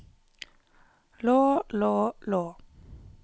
lå lå lå